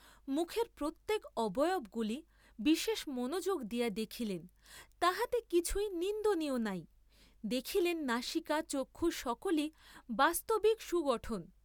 মুখের প্রত্যেক অবয়বগুলি বিশেষ মনোযোগ দিয়া দেখিলেন তাহাতে কিছুই নিন্দনীয় নাই, দেখিলেন নাসিকা চক্ষু সকলি বাস্তবিক সুগঠন।